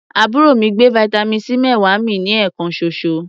Àbúrò mi gbé vitamin C méwàá mì ní ẹ̀ẹ̀kan ṣoṣo.